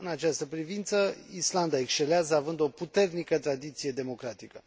În această privință, Islanda excelează, având o puternică tradiție democratică.